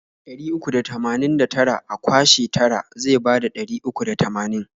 Ɗari uku da tamanin da tara a kwashe tara zai bada ɗari uku da tamanin.